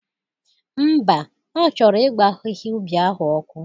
Ḿbà, Ọ chọrọ ịgba ahịhịa ubi ahụ ọkụ.